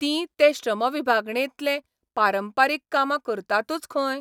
तीं ते श्रमविभगाणेंतल पारंपारीक कामां करतातूच खंय?